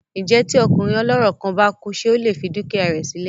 Ǹjẹ́ tí ọkùnrin ọlọ́rọ̀ kan bá kú ṣé ó lè fi dúkìá rẹ sí lẹ̀?